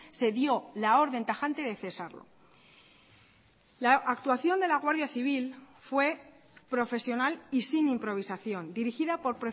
se dio la orden tajante de cesarlo la actuación de la guardia civil fue profesional y sin improvisación dirigida por